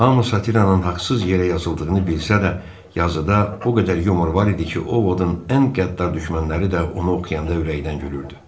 Hamı satiranın haqsız yerə yazıldığını bilsə də, yazıda o qədər yumor var idi ki, Ovodun ən qəddar düşmənləri də onu oxuyanda ürəkdən gülürdü.